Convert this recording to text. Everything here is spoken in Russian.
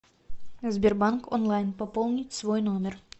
сбербанк онлайн пополнить свой номер